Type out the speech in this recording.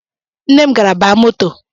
Nne m gara baa moto